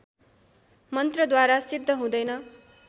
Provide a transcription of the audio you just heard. मन्त्रद्वारा सिद्ध हुँदैन